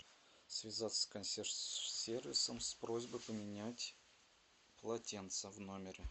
связаться с консьерж сервисом с просьбой поменять полотенце в номере